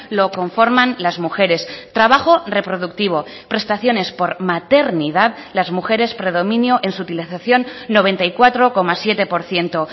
lo conforman las mujeres trabajo reproductivo prestaciones por maternidad las mujeres predominio en su utilización noventa y cuatro coma siete por ciento